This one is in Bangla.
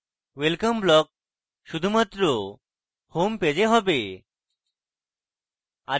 welcome block শুধুমাত্র homepage এ হবে